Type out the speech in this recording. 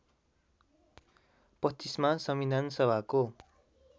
२५ मा संविधानसभाको